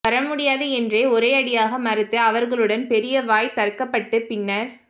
வர முடியாது என்று ஒரே அடியாக மறுத்து அவர்களுடன் பெரிய வாய்த்தர்க்கபட்டு பின்னர்